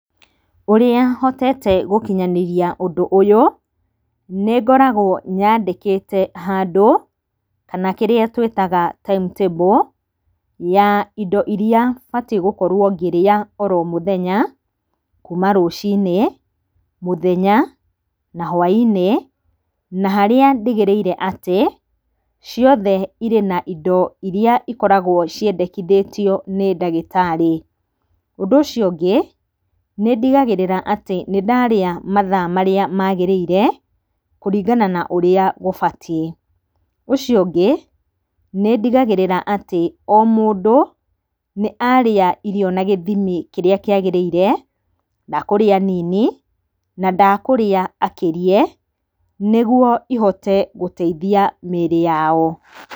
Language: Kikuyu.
Ũrĩa hotete gũkinyanĩria ũndũ ũyũ nĩngoragwo nyandĩkĩte handũ kana kĩrĩa twĩtaga timetable ya indo iria batiĩ gũkorwo ngĩrĩa oro mũthenya kuma rũciinĩ, mũthenya na hwainĩ, na harĩa ndigĩrĩire atĩ ciothe irĩ na indo iria ikoragwo ciendekithĩtio nĩ ndagĩtarĩ. Ũndũ ũcio ũngĩ nĩndigagĩrĩra atĩ nĩndarĩa mathaa marĩa magĩrĩire kũringana na ũrĩa gũbatiĩ. Ũcio ungĩ nĩndigagĩrĩra atĩ o mũndũ nĩarĩa irio na gĩthimi kĩrĩa kĩagĩrĩire ndakũrĩa nini na ndakũrĩa akĩrie nĩguo ihote gũteithia mĩrĩ yao.